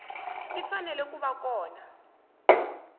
ti fanele ku va kona